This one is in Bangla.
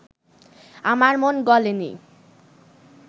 আমার মন গলে নি